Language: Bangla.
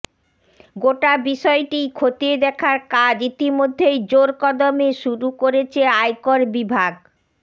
গোটা বিষয়টিই খতিয়ে দেখার কাজ ইতিমধ্যেই জোর কদমে শুরু করেছে আয়কর বিভাগ